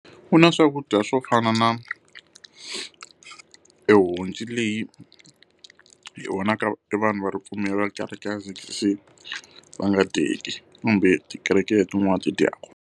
Ku na swakudya swo fana na ehonci leyi hi vonaka e vanhu va ripfumelo va kereke ya Z_C_C va nga dyeki kambe tikereke letin'wana ti dyaka.